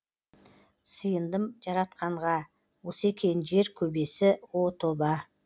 сиындым жаратқанға осы екен жер көбесі о тоба